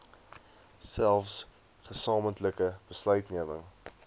selfs gesamentlike besluitneming